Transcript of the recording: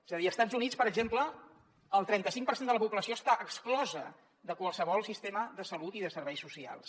és a dir a estats units per exemple el trenta cinc per cent de la població està exclosa de qualsevol sistema de salut i de serveis socials